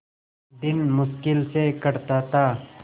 दिन मुश्किल से कटता था